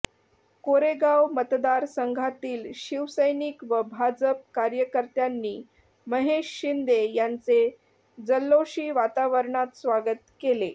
कोरेगाव मतदारसंघातील शिवसैनिक व भाजप कार्यकर्त्यांनी महेश शिंदे यांचे जल्लोषी वातावरणात स्वागत केले